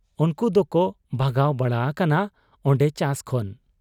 ᱩᱱᱠᱩ ᱫᱚᱠᱚ ᱵᱷᱟᱜᱟᱣ ᱵᱟᱲᱟ ᱟᱠᱟᱱᱟ ᱚᱱᱰᱮ ᱪᱟᱥ ᱠᱷᱚᱱ ᱾